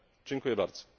Dziękuję bardzo.